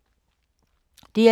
DR2